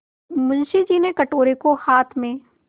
मुंशी जी ने कटोरे को हाथ में